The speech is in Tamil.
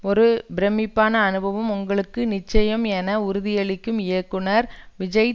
ஒரு பிரமிப்பான அனுபவம் உங்களுக்கு நிச்சயம் என உறுதியளிக்கும் இயக்குனர் விஜய்